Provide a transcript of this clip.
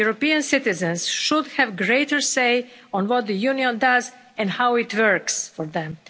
European citizens should have greater say on what the Union does and how it works for them.